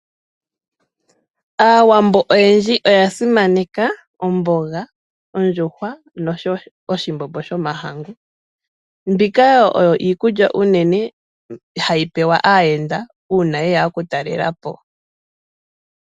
Aawambo oyendji oyasimaneka omboga, ondjuhwa noshowo oshimbombo shomahangu, mbika oyo iikulya uunene hayi pewa aayenda uuna yeya okutalela po.